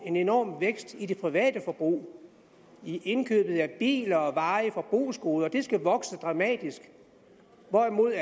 en enorm vækst i det private forbrug i indkøbet af biler og varige forbrugsgoder det skal vokse dramatisk hvorimod